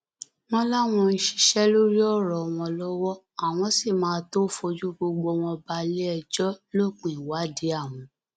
wọn láwọn ń ṣiṣẹ lórí ọrọ wọn lọwọ àwọn sì máa tóó fojú gbogbo wọn balẹẹjọ lópin ìwádìí àwọn